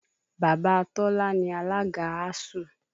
Bàbá Tọ́lá ni alága ASUU